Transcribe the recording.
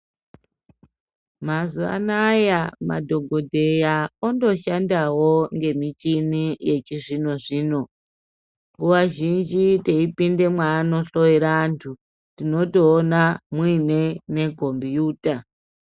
Mazuva anawa madhokoteya otoshandawo nemichini yechizvino-zvino nguva zhinji teipinda mwaanohloera vandu tinotoona mune mikombiyuta.